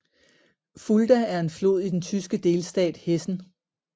Fulda er en flod i den tyske delstat Hessen